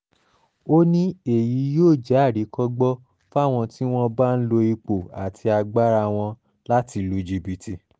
ó ní èyí yóò jẹ́ àríkọ́gbọ́n fáwọn tí wọ́n bá ń lo ipò àti agbára wọn láti lu jìbìtì